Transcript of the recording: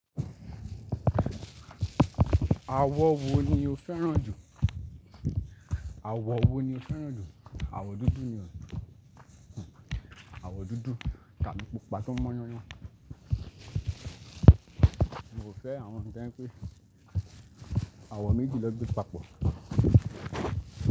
Àwọ̀ wo ni o fẹ́ràn jù? Àwọ̀ wo ni o fẹ́ràn jù? Àwọ̀ dúdú ni o. Àwọ̀ dúdú tàbí gbogbo pa tó mọ́ yán yán Mo fẹ́ àwọn tó jẹ́ pé àwọ̀ méjì ló gbé papọ̀